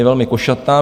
Je velmi košatá.